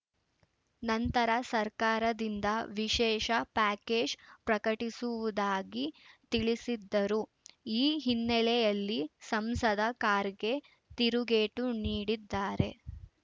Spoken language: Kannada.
ನಂತರ ಸರ್ಕಾರದಿಂದ ವಿಶೇಷ ಪ್ಯಾಕೇಜ್‌ ಪ್ರಕಟಿಸುವುದಾಗಿ ತಿಳಿಸಿದ್ದರು ಈ ಹಿನ್ನೆಲೆಯಲ್ಲಿ ಸಂಸದ ಖರ್ಗೆ ತಿರುಗೇಟು ನೀಡಿದ್ದಾರೆ